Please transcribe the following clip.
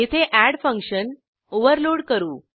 येथे add function overload करू